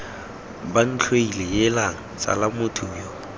bantlhoile heelang tsala motho yo